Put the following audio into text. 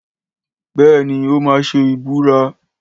Béèni, ó ma ṣe ìbúra